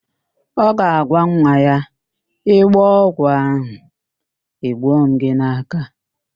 Ọ ga-agwa nwa ya, ị gbọọ ọgwụ ahụ, egbuo m gị n'áká